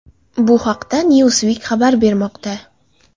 Bu haqda Newsweek xabar bermoqda .